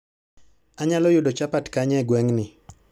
Anyalo yudo chapat kanye e gweng'ni